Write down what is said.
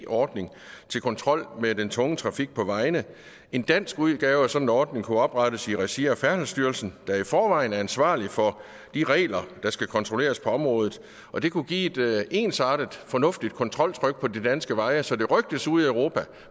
ordning til kontrol med den tunge trafik på vejene en dansk udgave af sådan en ordning kunne oprettes i regi af færdselsstyrelsen der i forvejen er ansvarlig for de regler der skal kontrolleres på området og det kunne give et ensartet fornuftigt kontroltryk på de danske veje så det rygtedes ude i europa